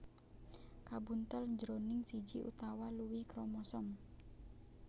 kabuntel jroning siji utawa luwih kromosom